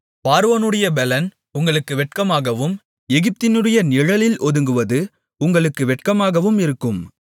பார்வோனுடைய பெலன் உங்களுக்கு வெட்கமாகவும் எகிப்தினுடைய நிழலில் ஒதுங்குவது உங்களுக்கு வெட்கமாகவும் இருக்கும்